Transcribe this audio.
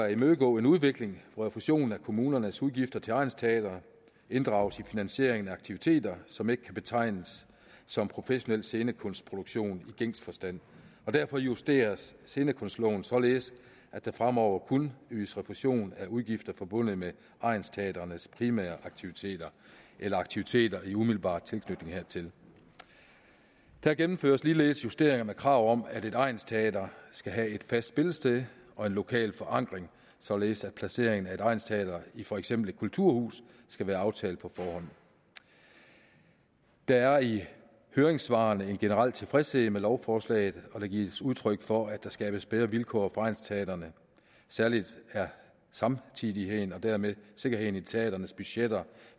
at imødegå en udvikling hvor refusion af kommunernes udgifter til egnsteatre inddrages i finansieringen af aktiviteter som ikke kan betegnes som professionel scenekunstproduktion i gængs forstand derfor justeres scenekunstloven således at der fremover kun ydes refusion af udgifter forbundet med egnsteatrenes primære aktiviteter eller aktiviteter i umiddelbar tilknytning hertil der gennemføres ligeledes justeringer med krav om at et egnsteater skal have et fast spillested og en lokal forankring således at placeringen af et egnsteater i for eksempel et kulturhus skal være aftalt på forhånd der er i høringssvarene en generel tilfredshed med lovforslaget og der gives udtryk for at der skabes bedre vilkår for egnsteatrene særlig er samtidigheden og dermed sikkerheden i teatrenes budgetter